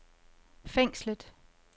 fængslet